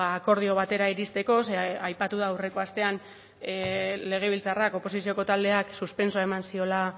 akordio batera iristeko ze aipatu da aurreko astean legebiltzarrak oposizioko taldeak suspentsoa eman ziola